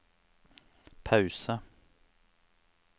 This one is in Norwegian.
pause